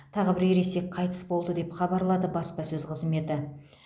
тағы бір ересек қайтыс болды деп хабарлады баспасөз қызметі